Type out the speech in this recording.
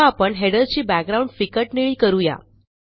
आता आपण हेडर ची बॅकग्राउंड फिकट निळी करू या